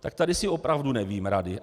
Tak tady si opravdu nevím rady.